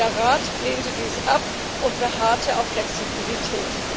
Der Rat lehnte dies ab und beharrte auf Flexibilität.